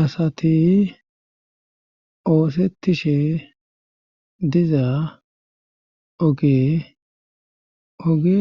Asati oosettishe diza oge oge